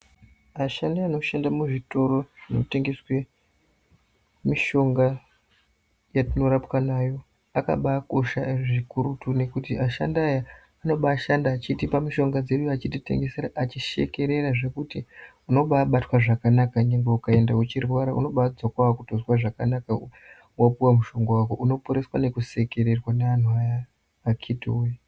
Ashandi anoshanda muzvitoro zvinotengeswe mishonga yatinorapwa nayo, akabakosha zvikuru kutoone kuti ashandi aya anobashanda achitipa mishonga dzedu achititengesera, achishekerera zvekuti unobabatwa zvakanaka, nyangwe ukaenda uchirwara unobadzoka wakutozwa zvakanaka wapuwa mushonga wako. Unoporeswa nekusekererwa neanhu aya aya akiti woye.